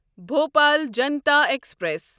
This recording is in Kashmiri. بھوپال جنتا ایکسپریس